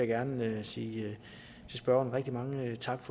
gerne sige rigtig mange tak